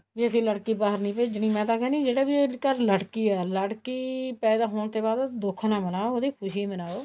ਵੀ ਅਸੀਂ ਲੜਕੀ ਬਾਹਰ ਨੀ ਭੇਜਣੀ ਮੈਂ ਤਾਂ ਕਹਿੰਦੀ ਹਾਂ ਜਿਹੜਾ ਵੀ ਅੱਜਕਲ ਲੜਕੀ ਹੈ ਲੜਕੀ ਪੈਦਾ ਹੋਣ ਤੇ ਬਾਅਦ ਦੁਖ ਨਾ ਮਨਾਓ ਉਹਦੀ ਖੁਸ਼ੀ ਮਨਾਓ